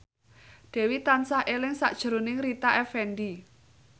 Dewi tansah eling sakjroning Rita Effendy